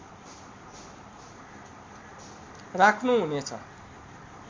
राख्नु हुने छ